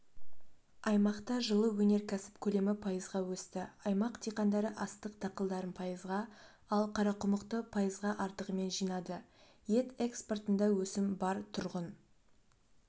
аймақта жылы өнеркәсіп көлемі пайызға өсті аймақ диқандары астық дақылдарын пайызға ал қарақұмықты пайызға артығымен жинады ет экспортында өсім бар тұрғын